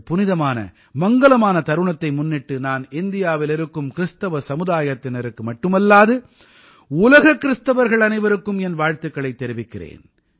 இந்தப் புனிதமான மங்கலமான தருணத்தை முன்னிட்டு நான் இந்தியாவில் இருக்கும் கிறிஸ்தவ சமுதாயத்தினருக்கு மட்டுமல்லாது உலக கிறிஸ்தவர்கள் அனைவருக்கும் என் வாழ்த்துக்களைத் தெரிவிக்கிறேன்